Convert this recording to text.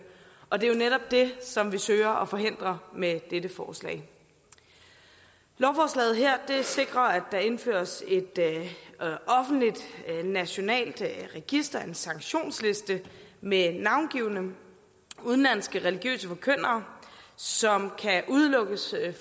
og det er jo netop det som vi søger at forhindre med dette forslag lovforslaget her sikrer at der indføres et offentligt nationalt register en sanktionsliste med navngivne udenlandske religiøse forkyndere som kan udelukkes